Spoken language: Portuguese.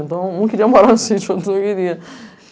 Então, um queria morar no sítio, outro não queria.